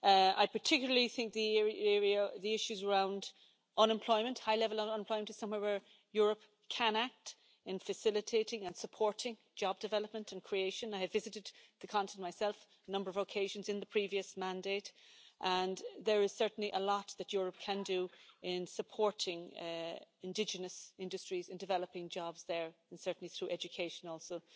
I particularly think the issues around high level unemployment is somewhere where Europe can act in facilitating and supporting job development and creation. I have visited the continent myself on a number of occasions in the previous mandate, and there is certainly a lot that Europe can do in supporting indigenous industries, in developing jobs there, and certainly through education also.